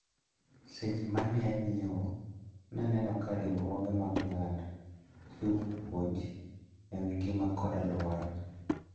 Seche mane anyiewo naneno ka riwruoge mag oganda chiwo puonj ewi ngima kod aluora.